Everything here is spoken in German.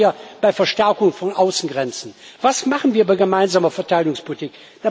Was machen wir bei Verstärkung von Außengrenzen? Was machen wir bei gemeinsamer Verteidigungspolitik?